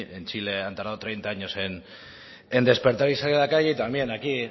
en chile han tardado treinta años en despertar y salir a la calle y también aquí